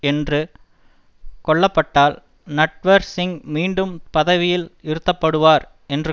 என்று கொள்ளப்பட்டால் நட்வர் சிங் மீண்டும் பதவியில் இருத்தப்படுவார் என்று